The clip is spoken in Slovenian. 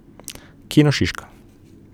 Kino Šiška.